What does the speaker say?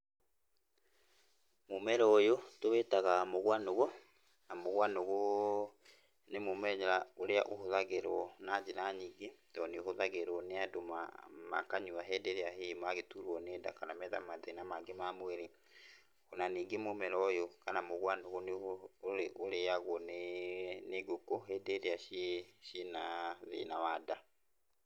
Mũmera ũyũ tũwĩtaga mũgwanũgũ, na mũgwanũgũ nĩ mũmenya ũrĩa ũhũthagĩrwo na njĩra nyingĩ to nĩũhũthagĩrwo nĩ andũ ma, makanyua hĩndĩ ĩrĩa hihi magĩturwo nĩ nda kana metha mathĩna mangĩ ma mwĩrĩ. Ona ningĩ mũmera ũyũ kana mũgwanũgũ nĩ ũrĩ, ũrĩagwo nĩ, nĩngũkũ hĩndĩ ĩrĩa ci, cina thĩna wa nda.